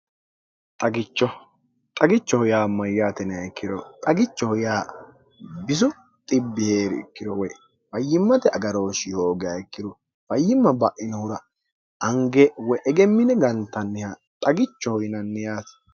xagichoho yaa mayyaatine ikkiro xagichoho yaa bisubierkkiro woy fayyimmate agarooshshi hooga ikkiro fayyimma ba'inohura ange woy egemmine gantanniha xagichoho yinanniyaati